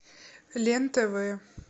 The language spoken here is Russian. лен тв